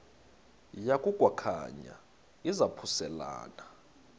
yaku khankanya izaphuselana